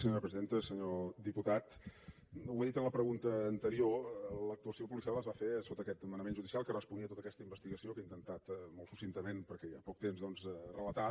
senyor diputat ho he dit en la pregunta anterior l’actuació policial es va fer sota aquest manament judicial que responia a tota aquesta investigació que he intentat molt succintament perquè hi ha poc temps doncs relatar